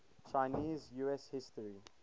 chinese us history